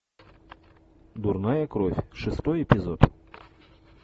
дурная кровь шестой эпизод